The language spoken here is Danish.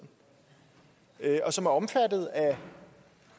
og som er omfattet af